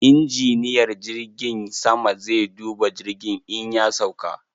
Injiniyar jirgin sama zai duba jirgin in ya sauka.